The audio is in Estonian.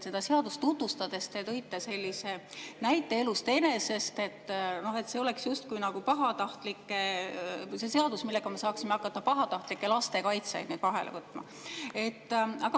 Seda seadust tutvustades te tõite sellise näite elust enesest, et see oleks justkui see seadus, millega me saaksime hakata pahatahtlikke lastekaitsjaid vahele võtma.